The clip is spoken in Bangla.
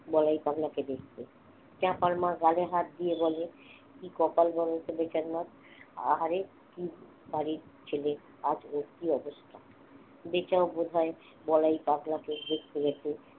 বলাই পাগলা কে দেখতে, চাপার মা গালে হাত দিয়ে বলে কি কপাল বলতো বেচার মা আহারে কি বাড়ির ছেলে আজ ওর কি অবস্থা? বেচাও বোধায় বলাই পাগলা কে দেখতে গেছে